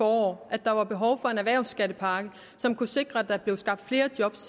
forår at der var behov for en erhvervsskattepakke som kunne sikre at der blev skabt flere job